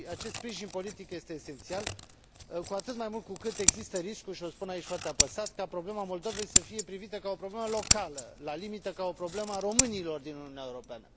Acest sprijin politic este esențial, cu atât mai mult cu cât există riscul, și o spun aici foarte apăsat, ca problema Moldovei să fie privită ca o problemă locală, la limită ca o problemă a românilor din Uniunea Europeană.